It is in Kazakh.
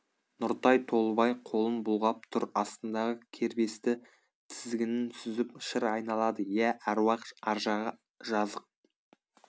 нұртай толыбай қолын бұлғап тұр астындағы кербесті тізгінін сүзіп шыр айналады иә әруақ аржағы жазық